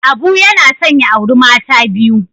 Abu yana son ya auri mata biyu.